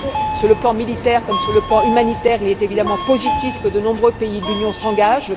Sur le plan militaire comme sur le plan humanitaire, il est évidemment positif que de nombreux pays de l'Union s'engagent.